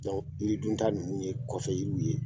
yiri dunta ninnu ye kɔfɛ yiri ye